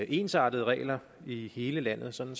ensartede regler i hele landet sådan